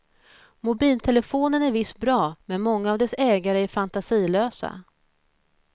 Mobiltelefonen är visst bra, men många av dess ägare är fantasilösa.